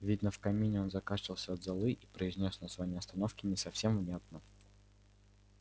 видно в камине он закашлялся от золы и произнёс название остановки не совсем внятно